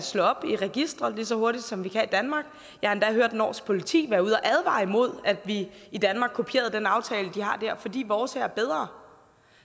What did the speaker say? slå op i registre lige så hurtigt som vi kan i danmark jeg har endda hørt norsk politi være ude og advare imod at vi i danmark kopierer den aftale de har dér fordi vores er bedre